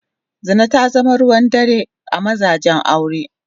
Zina ta zama ruwan dare a mazajen aure.